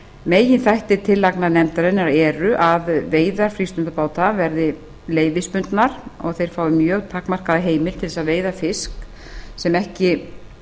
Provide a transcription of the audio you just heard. meginþættir tillagna nefndarinnar eru að veiðar frístundabáta verði leyfisbundnar og að þeir fái mjög takmarkaða heimild til þess að veiða fisk sem ekki